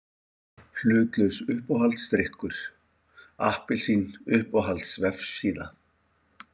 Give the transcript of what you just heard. Hlutlaus Uppáhaldsdrykkur: Appelsín Uppáhalds vefsíða?